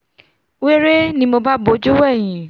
wéré ni mo bá bojú wẹ̀hìn